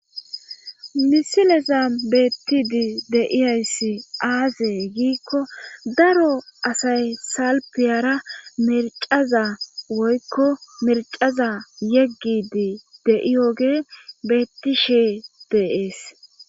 misileza beettidi de'ayssi aazee giikko daro asay salpiyara mercaza woykko mercaza yeggidi de'iyoge beettishee de'ees